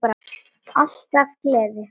Alltaf gleði.